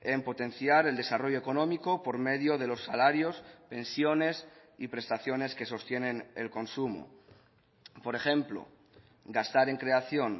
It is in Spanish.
en potenciar el desarrollo económico por medio de los salarios pensiones y prestaciones que sostienen el consumo por ejemplo gastar en creación